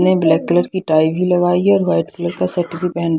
ने black colour की tie भी लगाई है और वाइट कलर का शर्ट भी पहन--